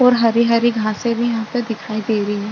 और हरी-हरी घासे भी यहाँ पर दिखाई दे रही है।